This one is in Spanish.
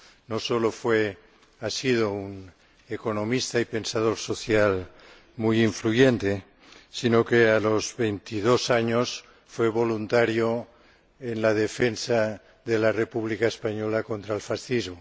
no solo ha sido un economista y pensador social muy influyente, sino que a los veintidós años fue voluntario en la defensa de la República Española contra el fascismo.